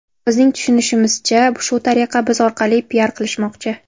Bizning tushunishimizcha, shu tariqa biz orqali ‘piar’ qilishmoqchi.